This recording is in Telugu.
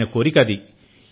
ఆయన కోరిక అది